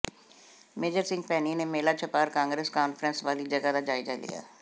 major Singh Bhaini ਨੇ ਮੇਲਾ Chhapar Congress conference ਵਾਲੀ ਜਗ੍ਹਾ ਦਾ ਜਾਇਜ਼ਾ ਲਿਆ